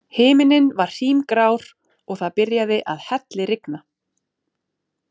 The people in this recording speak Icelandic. Himinninn var hrímgrár og það byrjaði að hellirigna.